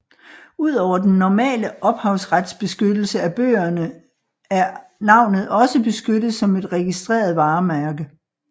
Ud over den normale ophavsretsbeskyttelse af bøgerne er navnet også beskyttet som et registreret varemærke